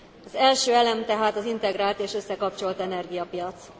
Az első elem tehát az integrált és összekapcsolt energiapiac.